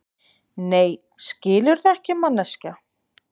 Nei, skilurðu ekki, manneskja.